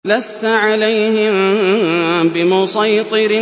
لَّسْتَ عَلَيْهِم بِمُصَيْطِرٍ